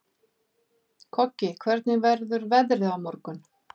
Koggi, hvernig verður veðrið á morgun?